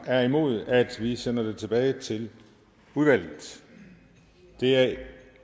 er imod at vi sender det tilbage til udvalget det er